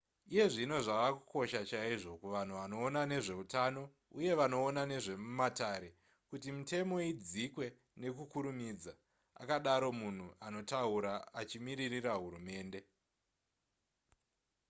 iye zvino zvava kukosha chaizvo kuvanhu vanoona nezveutano uye vanoona nezvemumatare kuti mitemo idzikwe nekukurumidza akadaro munhu anotaura achimiririra hurumende